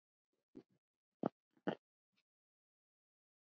Það er ljót sjón lítil.